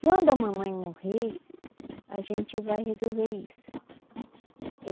Quando a mamãe morrer, a gente vai resolver isso.